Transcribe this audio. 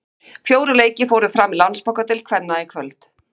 Fjórir leikir fóru fram í Landsbankadeild kvenna í kvöld.